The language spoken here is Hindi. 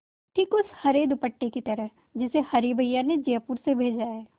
ठीक उस हरे दुपट्टे की तरह जिसे हरी भैया ने जयपुर से भेजा है